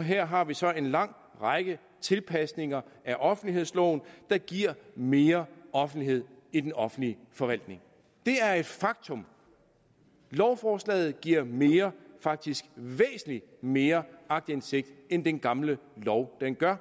her har vi så en lang række tilpasninger af offentlighedsloven der giver mere offentlighed i den offentlige forvaltning det er et faktum lovforslaget giver mere faktisk væsentlig mere aktindsigt end den gamle lov gør